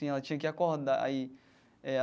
ela tinha que acordar aí é.